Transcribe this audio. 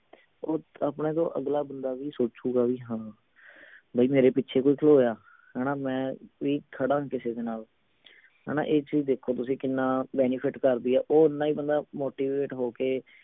ਹੁਣ ਆਪਣੇ ਤੋਂ ਅਗਲਾ ਬੰਦਾ ਵੀ ਸੋਚੂਗਾ ਵੀ ਹਾਂ ਬਈ ਮੇਰੇ ਪਿੱਛੇ ਕੋਈ ਖਲੋਇਆ ਹਣਾ ਮੈਂ ਵੀ ਖੜਾਂ ਕਿਸੇ ਦੇ ਨਾਲ ਹਣਾ ਇਹ ਚੀਜ ਦੇਖੋ ਤੁਸੀਂ ਕਿੰਨਾ benefit ਕਰਦੀ ਆ ਉਹ ਓੰਨਾ ਹੀ ਬੰਦਾ motivate ਹੋ ਕੇ